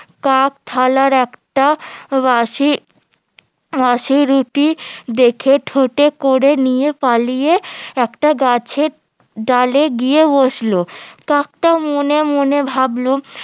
কাক থালার একটা বাসি বাসি রুটি দেখে ঠোটে করে নিয়ে পালিয়ে একটা গাছের ডালে গিয়ে বসল কাকটা মনে মনে ভাবল